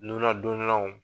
nunnadonnanw.